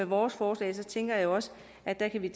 vores forslag tænker jeg også at vi